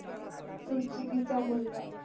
तूच चुकीचा मुलगा